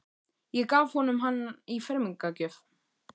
Ég gaf honum hann í fermingargjöf.